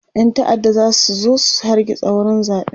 ƴan ta'adda zasu zo su hargitsa wurin zaɓen